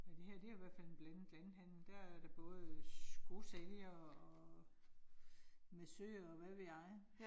Ja, det her det jo i hvert fald en blandet landhandel, der er der både skosælgere og massører og hvad ved jeg